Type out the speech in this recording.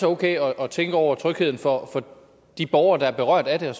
okay at tænke over trygheden for de borgere der er berørt af det